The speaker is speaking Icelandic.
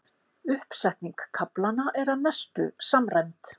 Uppsetning kaflanna er að mestu samræmd